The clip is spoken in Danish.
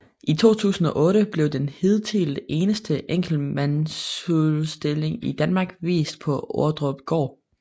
I 2008 blev den hidtil eneste enkeltmandsudstilling i Danmark vist på Ordrupgaard